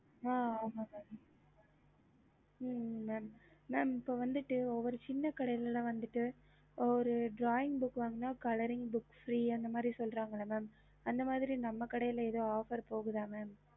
அது உங்களுக்கு வந்துட்டு usefui இருக்கும் mam இப்போ வாத்துட்டு ஒவ்வொரு சின்ன கடியல வந்து drawing book coloring books free அந்த மாரி நம்ப கடைல எதாவது offer இருக்க mam